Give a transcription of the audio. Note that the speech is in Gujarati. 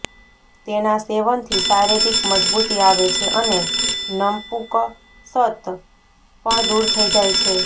તેના સેવનથી શારીરિક મજબૂતી આવે છે અને નપુંકસત પણ દૂર થઇ જાય છે